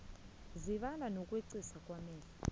zibala nokweqiswa amehlo